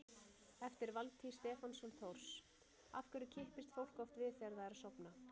Eftir Valtý Stefánsson Thors: Af hverju kippist fólk oft við þegar það er að sofna?